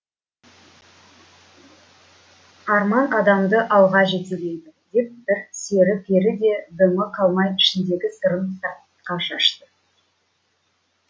арман адамды алға жетелейді деп сері пері де дымы қалмай ішіндегі сырын сыртқа шашты